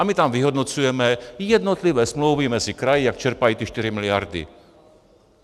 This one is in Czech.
A my tam vyhodnocujeme jednotlivé smlouvy mezi kraji, jak čerpají ty 4 miliardy.